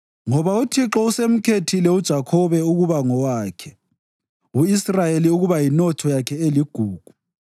Ngoba uThixo usemkhethile uJakhobe ukuba ngowakhe, u-Israyeli ukuba yinotho yakhe eligugu.